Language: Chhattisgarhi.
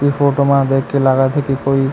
इ फोटो म देख के लागत हे की कोई--